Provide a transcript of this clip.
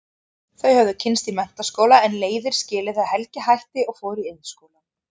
Þau höfðu kynnst í menntaskóla en leiðir skilið þegar Helgi hætti og fór í Iðnskólann.